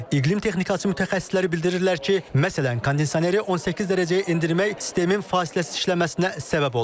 İqlim texnikası mütəxəssisləri bildirirlər ki, məsələn, kondisioneri 18 dərəcəyə endirmək sistemin fasiləsiz işləməsinə səbəb olur.